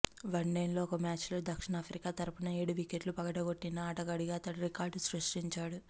వన్డేల్లో ఒకే మ్యాచ్లో దక్షిణాఫ్రికా తరఫున ఏడు వికెట్లు పడగొట్టిన ఆటగాడిగా అతడు రికార్డు సృష్టించాడు